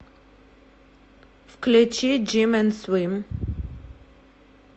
включи джим энд свим